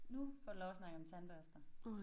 Nu får du lov at snakke om tandbørster